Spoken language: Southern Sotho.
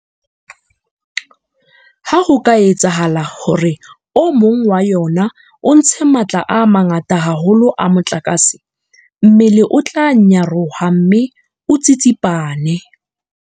Ha ho ka etsahala hore o mong wa yona o ntshe matla a mangata haholo a motlakase, mmele o tla nyaroha mme o tsitsipane.